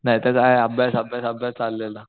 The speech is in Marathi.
नाही तर आहे अभ्यास अभ्यास अभ्यास चाललेलं.